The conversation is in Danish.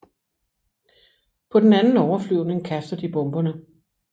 På den anden overflyvning kaster de bomberne